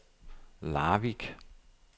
Larvik